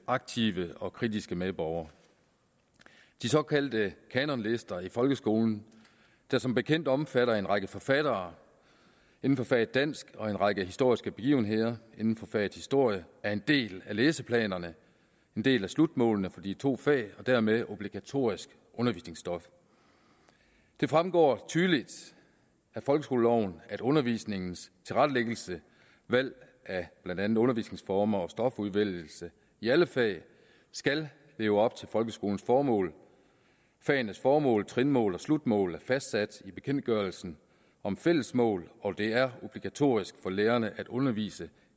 aktive og kritiske medborgere de såkaldte kanonlister i folkeskolen der som bekendt omfatter en række forfattere inden for faget dansk og en række historiske begivenheder inden for faget historie er en del af læseplanerne en del af slutmålene for de to fag og dermed obligatorisk undervisningsstof det fremgår tydeligt af folkeskoleloven at undervisningens tilrettelæggelse valg af blandt andet undervisningsformer og stofudvælgelse i alle fag skal leve op til folkeskolens formål fagenes formål trinmål og slutmål er fastsat i bekendtgørelsen om fælles mål og det er obligatorisk for lærerne at undervise